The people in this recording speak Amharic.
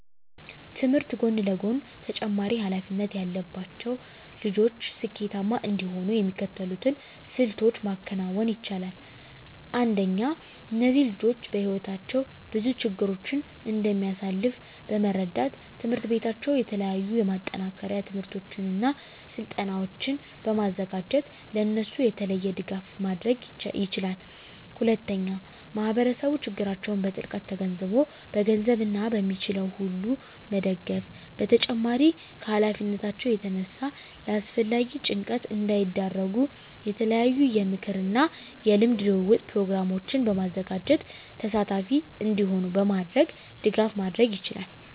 ከትምህርት ጎን ለጎን ተጨማሪ ሀላፊነት ያለባቸው ልጆች ስኬታማ እንዲሆኑ የሚከተሉትን ስልቶች ማከናወን ይቻላል። አንደኛ እነዚህ ልጆች በህይወታቸው ብዙ ችግሮችን እንደሚያሳልፍ በመረዳት ትምሕርት ቤታቸው የተለያዩ የማጠናከሪያ ትምህርቶችን እና ስልጠናዎችን በማዘጋጀት ለእነሱ የተለየ ድጋፍ ማድረግ ይችላል። ሁለተኛ ማህበረሰቡ ችግራቸውን በጥልቀት ተገንዝቦ በገንዘብ እና በሚችለው ሁሉ መደገፍ በተጨማሪም ከሀላፊነታቸው የተነሳ ለአላስፈላጊ ጭንቀት እንዳይዳረጉ የተለያዩ የምክክር እና የልምድ ልውውጥ ፕሮግራሞችን በማዘጋጀት ተሳታፊ እንዲሆኑ በማድረግ ድጋፍ ማድረግ ይቻላል።